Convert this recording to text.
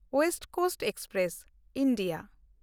West Coast Express (India)